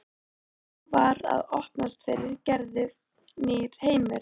Nú var að opnast fyrir Gerði nýr heimur.